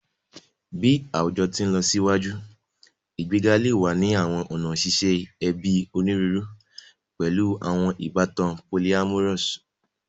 Bi awujọ ti nlọsiwaju, igbega le wa ni awọn ọna ṣiṣe ẹbi oniruuru, pẹlu awọn ibatan polyamorous